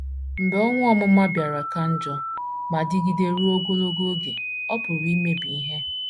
Mgbe owu ọmụma bịara ka njọ ma dịgide ruo ogologo oge, ọ pụrụ imebi ihe.